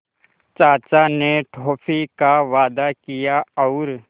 चाचा ने टॉफ़ी का वादा किया और